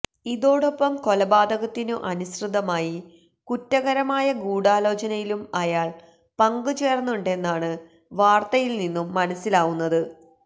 ഇതോടൊപ്പം കൊലപാതകത്തിനു അനുസൃതമായി കുറ്റകരമായ ഗൂഢാലോചനയിലും അയാള് പങ്കുചേര്ന്നുണ്ടെന്നാണ് വാര്ത്തയില് നിന്നും മനസ്സില് ആവുന്നത്